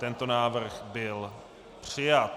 Tento návrh byl přijat.